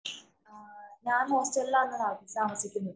ഞാന്‍ താമസിക്കുന്നത്.